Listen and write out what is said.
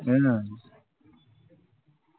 हम्म